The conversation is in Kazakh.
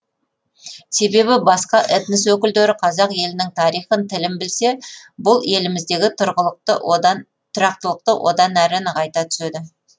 себебі басқа этнос өкілдері қазақ елінің тарихын тілін білсе бұл еліміздегі тұрақтылықты одан әрі нығайта түседі